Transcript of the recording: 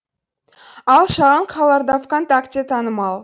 ал шағын қалаларда вконтакте танымал